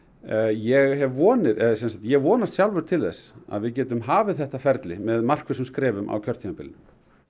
ég vonast ég vonast sjálfur til þess að við getum hafið þetta ferli með markvissum skrefum á kjörtímabilinu